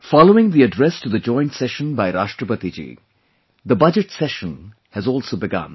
Following the Address to the joint session by Rashtrapati ji, the Budget Session has also begun